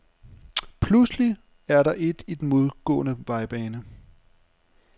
Pludselig er der et i den modgående vejbane.